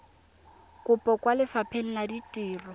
kopo kwa lefapheng la ditiro